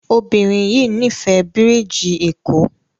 Obirin yii n'ifẹ birigi eko